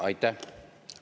Aitäh!